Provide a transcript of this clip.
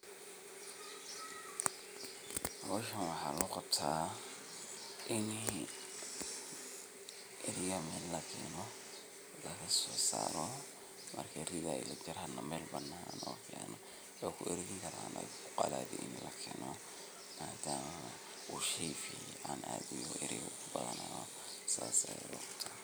Howshaan waxa loqabta inii ariga meel lakeno lasosaro oo marka meel banan ah lakeno mealaha luqalaya lakeno madama uu shey fiyow ariga kubadanyoho.